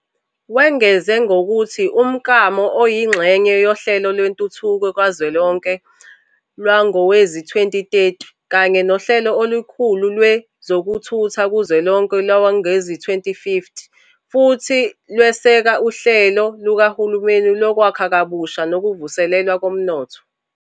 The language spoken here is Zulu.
Wengeze ngokuthi umklamo uyingxenye yoHlelo Lwentuthuko Kazwelonke lwangowezi-2030 kanye noHlelo Olukhulu Lwe zokuthutha Kuzwelonke lwangowezi-2050 futhi lweseka uHlelo Lukahulumeni Lokwakha Kabusha Nokuvuselelwa Komnotho.